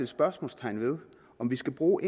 spørgsmålstegn ved om vi skal bruge